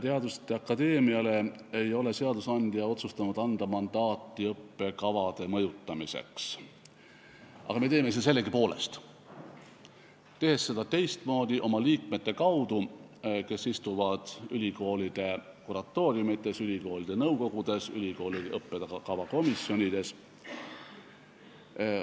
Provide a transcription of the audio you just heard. Teaduste akadeemiale ei ole seadusandja otsustanud anda mandaati õppekavade mõjutamiseks, aga me teeme seda sellegipoolest, tehes seda teistmoodi, oma liikmete kaudu, kes istuvad ülikoolide kuratooriumites, ülikoolide nõukogudes, ülikoolide õppekavakomisjonides.